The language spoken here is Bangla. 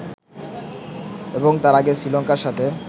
এবং তার আগে শ্রীলঙ্কার সাথে